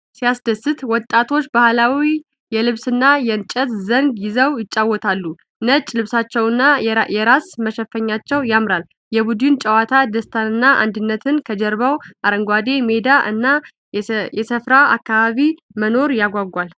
ሲያስደስት! ወጣቶቹ ባህላዊ የልብስና የእንጨት ዘንግ ይዘው ይጫወታሉ። ነጭ ልብሳቸውና የራስ መሸፈኛቸው ያምራል። የቡድን ጨዋታ ደስታንና አንድነትን ከጀርባው አረንጓዴ ሜዳ እና የሰፈራ አካባቢ መኖሩ ያጓጓል።